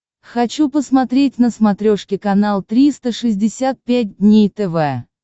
хочу посмотреть на смотрешке канал триста шестьдесят пять дней тв